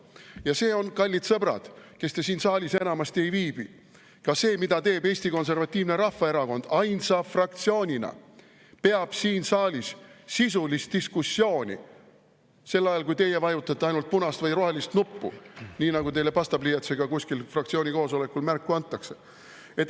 Ja see on, kallid sõbrad, kes te siin saalis enamasti ei viibi, ka see, mida teeb Eesti Konservatiivne Rahvaerakond ainsa fraktsioonina: peab siin saalis sisulist diskussiooni, sel ajal kui teie vajutate ainult punast või rohelist nuppu, nii nagu teile pastapliiatsiga kuskil fraktsiooni koosolekul märku antakse.